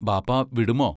ബാപ്പാ വിടുമോ?